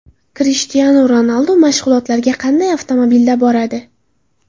Krishtianu Ronaldu mashg‘ulotlarga qanday avtomobilda boradi?.